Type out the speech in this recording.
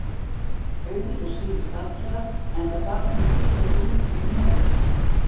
Auður fer síðust allra, enda þarf hún að bíða eftir rútunni norður.